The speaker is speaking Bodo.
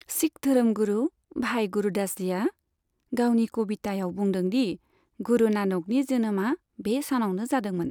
सिख धोरोमगुरु भाई गुरदास जीआ गावनि 'कविता'याव बुंदों दि गुरु नानकनि जोनोमा बे सानावनो जादोंमोन।